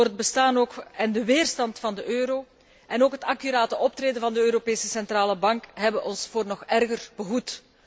Het bestaan en de weerstand van de euro en ook het accurate optreden van de Europese Centrale Bank hebben ons voor erger behoed.